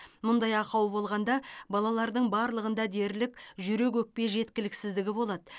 мұндай ақау болғанда балалардың барлығында дерлік жүрек өкпе жеткіліксіздігі болады